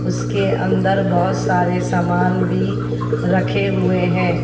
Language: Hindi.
उसके अन्दर बोहोत सारे सामान भी रखे हुए है।